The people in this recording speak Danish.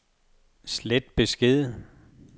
slet besked